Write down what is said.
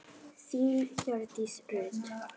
Þín, Hjördís Rut.